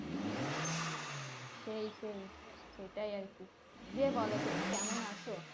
সেই সেই সেটাই আরকি দিয়ে বোলো তুমি কেমন আছো?